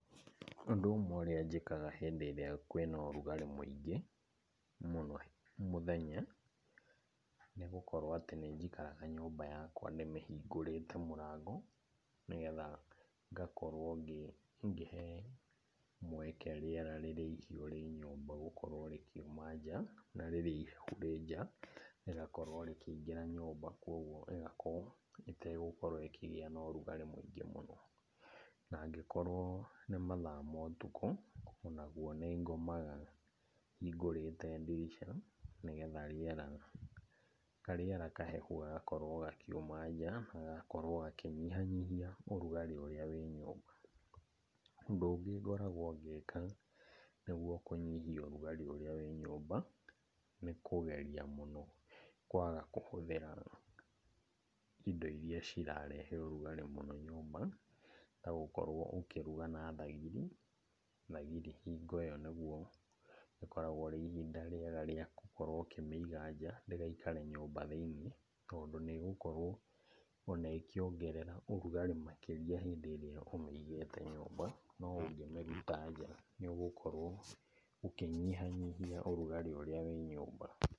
Ũndũ ũmwe ũrĩa njĩkaga hĩndĩ ĩrĩa kwĩna ũrugarĩ mũingĩ mũno mũthenya, nĩ gũkorwo atĩ nĩnjikaraga nyũmba yakwa ndĩmĩhingũrĩte mũrango, nĩgetha ngakorwo ngĩhe mweke rĩera rĩrĩa ihiũ rĩ nyũmba gũkorwo rĩkiuma nja, na rĩrĩa ihehu rĩ nja rĩgakorwo rĩkĩingĩra nyũmba. Koguo ĩgakorwo ĩtekũgĩa na ũrugarĩ mũingĩ mũno, na angĩkorwo nĩ mathaa ma ũtukũ, onaguo, nĩngomaga hingũrĩte ndirica nĩgetha rĩera, karĩera kahehu gagakorwo gakiuma nja gagakorwo gĩkĩnyihanyihia ũrugarĩ ũrĩa wĩ nyũmba. Ũndũ ũngĩ ngoragwo ngĩka nĩguo kũnyihia ũrugari ũrĩa wĩ nyũmba nĩkũgeria mũno kwaga kũhũthĩra indo iria cirarehe ũrugari mũno nyũmba ta gũkorwo ũkĩruga na thagĩri. Thagĩri hingo ĩyo nĩguo ĩkoragwo rĩ ihinda rĩega rĩa gũkorwo ũkĩmĩiga nja ndĩgaikare nyũmba thĩinĩ tondũ nĩ ĩgũkorwo ona ĩkĩongerera ũrugarĩ makĩria hĩndĩ ĩrĩa ũmĩigĩte nyũmba, no ũngĩmĩruta nja, nĩ ũgũkorwo ũkĩnyihanyihia ũrugarĩ ũrĩa wĩ nyũmba.